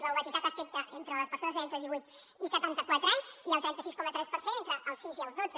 l’obesitat afecta les persones entre divuit i setanta quatre anys i el trenta sis coma tres per cent entre els sis i el dotze